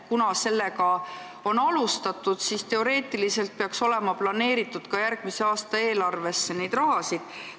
Kuna seda on alustatud, siis teoreetiliselt peaks järgmise aasta eelarves see raha planeeritud olema.